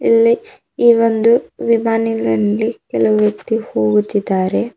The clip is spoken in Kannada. ಇಲ್ಲಿ ಈ ಒಂದು ವಿಮಾನಿನಲ್ಲಿ ಕೆಲವು ವ್ಯಕ್ತಿ ಹೋಗುತ್ತಿದ್ದಾರೆ.